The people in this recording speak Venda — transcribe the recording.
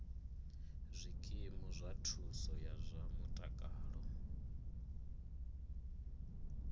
zwikimu zwa thuso ya zwa mutakalo